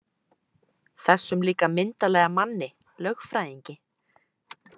Þessum líka myndarlega manni, lögfræðingi.